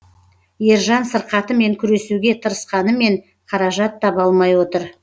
ержан сырқатымен күресуге тырысқанымен қаражат таба алмай отыр